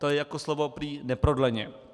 To je jako slovo prý "neprodleně".